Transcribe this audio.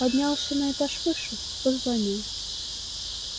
поднялся на этаж выше позвонил